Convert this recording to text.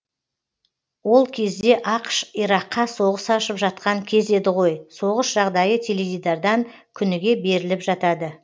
ол кезде ақш ираққа соғыс ашып жатқан кез еді ғой соғыс жағдайы теледидардан күніге беріліп жатады